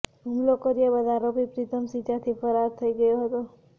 હૂમલો કર્યા બાદ આરોપી પ્રિતમસિંહ ત્યાંથી ફરાર થઈ ગયો હતો